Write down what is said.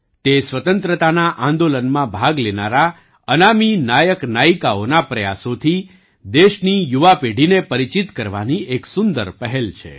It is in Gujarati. તે સ્વતંત્રતાના આંદોલનમાં ભાગ લેનારા અનામી નાયકનાયિકાઓના પ્રયાસોથી દેશની યુવા પેઢીને પરિચિત કરવાની એક સુંદર પહેલ છે